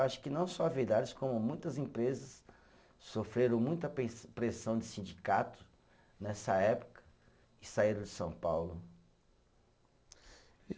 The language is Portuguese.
Acho que não só a Villares, como muitas empresas sofreram muita pen, pressão de sindicato nessa época e saíram de São Paulo.